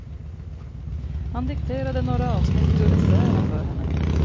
Han dikterade några avsnitt ur essäerna för henne.